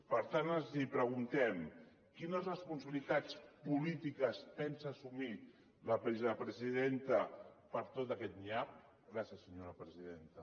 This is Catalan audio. per tant els preguntem quines responsabilitats polítiques pensa assumir la vicepresidenta per tot aquest nyap gràcies senyora presidenta